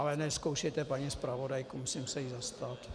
Ale nezkoušejte paní zpravodajku, musím se jí zastat.